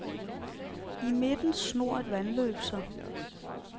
I midten snor et vandløb sig.